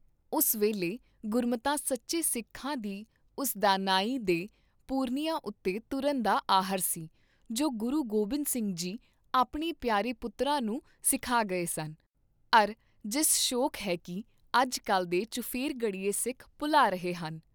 ਉਸ ਵੇਲੇ ਗੁਰਮਤਾ ਸੱਚੇ ਸਿੱਖਾਂ ਦੀ ਉਸ ਦਾਨਾਈ ਦੇ ਪੂਰਨਿਆਂ ਉਤੇ ਤੁਰਨ ਦਾ ਆਹਰ ਸੀ, ਜੋ ਗੁਰੂ ਗੋਬਿੰਦ ਸਿੰਘ ਜੀ ਆਪਣੇ ਪਿਆਰੇ ਪੁੱਤਰਾਂ ਨੂੰ ਸਿਖਾ ਗਏ ਸਨ, ਅਰ ਜਿਸ ਸ਼ੌਕ ਹੈ ਕੀ ਅੱਜ ਕਲ ਦੇ ਚੁਫੇਰਗੜੀਏ ਸਿੱਖ ਭੁਲਾ ਰਹੇ ਹਨ।